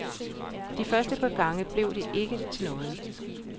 De første par gange blev det ikke til noget.